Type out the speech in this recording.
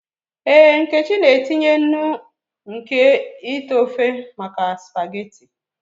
Ee, nkechi na-etinye nnu nke ite ofe maka spaghetị.